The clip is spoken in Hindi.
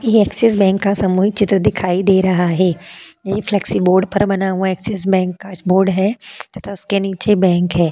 यह एक्सिस बैंक का सामूहिक चित्र दिखाई दे रहा है। यह फ्लेक्सी बोर्ड पर बना हुआ एक्सिस बैंक का बोर्ड है तथा उसके नीचे बैंक है।